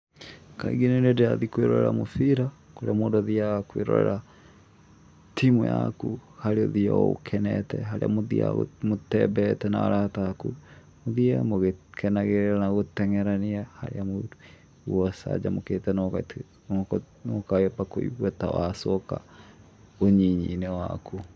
Kaingĩ nĩ rĩrĩa ndĩrathiĩ kwĩrorera mũbira, kũrĩa mũndũ athiaga kwĩrorera timu yaku, harĩa ũthiaga ũkenete, harĩa mũthiaga mũtembeete na arata aku, muthĩĩ mũgĩkenagĩrĩra na gũteng'erania harĩa mũndũ aiguaga acanjamũkĩte na ũkamba kũigua ta wacoka ũnyinyi-inĩ waku.